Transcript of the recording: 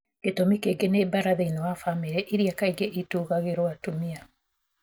Gĩtũmi kĩngĩ nĩ mbaara thĩinĩ wa famĩlĩ, iria kaingĩ itũgagĩrũo atumia.